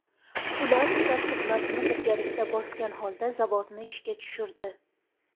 Ular start tugmasini birgalikda bosgan holda zavodni ishga tushirdi.